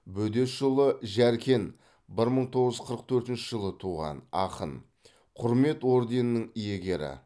бөдешұлы жәркен бір мың тоғыз жүз қырық төртінші жылы туған ақын құрмет орденінің иегері